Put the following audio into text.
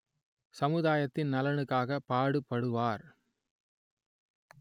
சமுதாயத்தின் நலனுக்காக பாடுபடுவார்